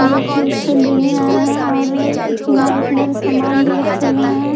जोकि उससे लेने आया है और किनारे किनारे समान भी रखे गए हैं।